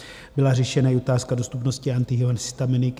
Byla řešena i otázka dostupnosti antihistaminik.